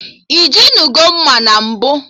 Ijinugo mma na mbụ?